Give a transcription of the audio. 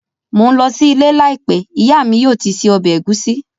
Mò ń lọ sí ilé láìpẹ́, ìyá mi yóò ti se ọbẹ̀ ẹ̀gúsí